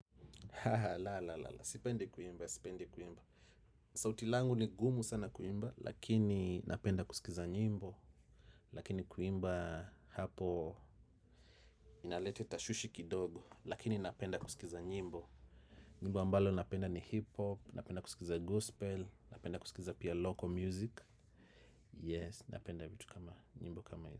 Ha ha la la la, sipende kuimba, sipendi kuimba. Sauti langu ni gumu sana kuimba, lakini napenda kusikiza nyimbo lakini kuimba hapo, inalete tashwishi kidogo, lakini napenda kusikiza nyimbo. Nyimbo ambalo napenda ni hip hop, napenda kusikiza gospel, napenda kusikiza pia local music. Yes, napenda vitu kama, nyimbo kama.